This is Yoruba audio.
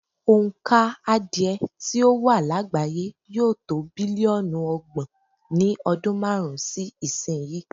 Òǹkà adìẹ tí ó wà lágbàáyé yóò to bílíọ̀nù ọgbọ̀n ní ọdún márùn-ún sí ìsìnyí.